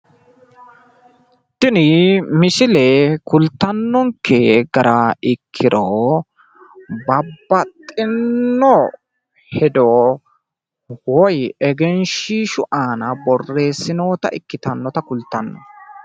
tini misile kultannonke gara ikkiro babaxino hedo woyi egenshiishshu aana borresinoonnita kultanno.